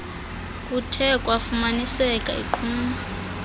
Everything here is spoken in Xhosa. kuthe kwafumaniseka iqhuma